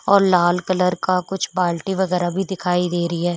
और लाल कलर का कुछ बाल्टी वगैरा भी दिखाई दे रही है।